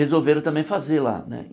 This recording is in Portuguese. Resolveram também fazer lá né.